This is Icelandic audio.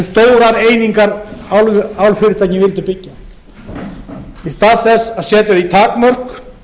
hversu stórar einingar álfyrirtækin vildu byggja í stað þess að setja því takmörk